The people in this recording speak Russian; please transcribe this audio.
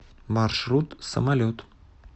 маршрут самолет